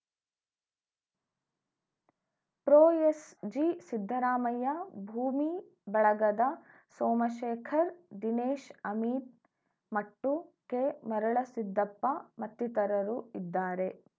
pro S G Siddaramaiah ಭೂಮಿ ಬಳಗದ Somashekhar Dinesh Amin Mattu K Marulasiddappa ಮತ್ತಿತರರು ಇದ್ದಾರೆ